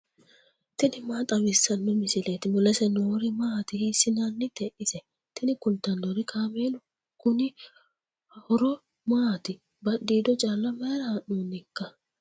tini maa xawissanno misileeti ? mulese noori maati ? hiissinannite ise ? tini kultannori kaameelu konni horo maati badhiido calla mayra haa'noonnikka